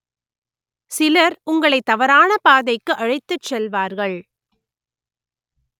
சிலர் உங்களை தவறான பாதைக்கு அழைத்துச் செல்வார்கள்